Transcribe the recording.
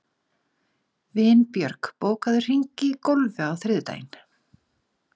Vinbjörg, bókaðu hring í golf á þriðjudaginn.